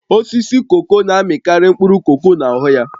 Osisi koko na-amịkarị mkpụrụ koko na-ahụ ya